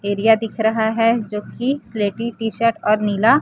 area दिख रहा है जोकि स्लेटी टी शर्ट और नीला--